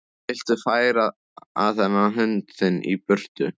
Viltu færa þennan hund þinn í burtu!